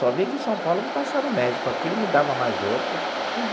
Só vim aqui em São Paulo para passar no médico, aqui ele me dava mais outro.